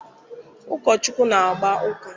Ụkọchukwu na-agba uka.